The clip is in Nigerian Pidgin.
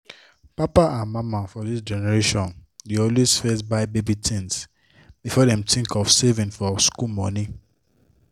papa and mama for this generation dey always first buy baby things before dem think of saving for school money